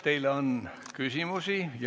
Teile on küsimusi.